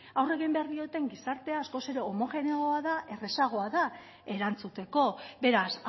aurre egin behar dioten gizartea askoz ere homogeneoagoa da errazagoa da erantzuteko beraz